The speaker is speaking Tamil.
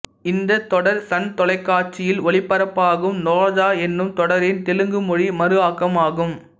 இந்த தொடர் சன் தொலைக்காட்சியில் ஒளிபரப்பாகும் ரோஜா என்ற தொடரின் தெலுங்கு மொழி மறு ஆக்கம் ஆகும்